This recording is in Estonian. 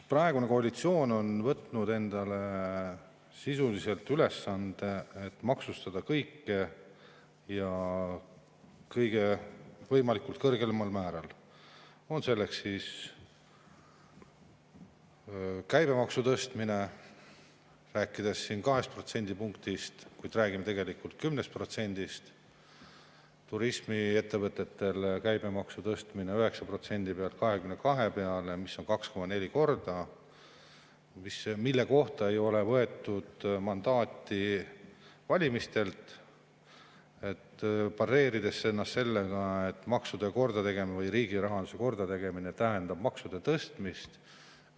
Praegune koalitsioon on võtnud endale sisuliselt ülesande, et maksustada kõike ja võimalikult kõige kõrgemal määral, on selleks siis käibemaksu tõstmine, rääkides 2 protsendipunktist, kuigi tegelikult tuleks rääkida 10%‑st, turismiettevõtete käibemaksu tõstmine 9% pealt 22% peale, see on 2,4 korda, mille kohta ei võetud mandaati valimistelt, ja pareeritakse sellega, et maksude või riigirahanduse kordategemine tähendab maksude tõstmist.